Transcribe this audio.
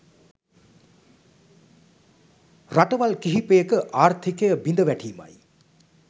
රටවල් කිහිපයක ආර්ථිකය බිඳ වැටීමයි.